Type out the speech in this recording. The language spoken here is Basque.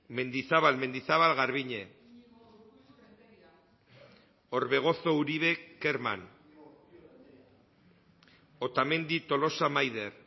mendizabal mendizabal garbiñe orbegozo uribe kerman otamendi tolosa maider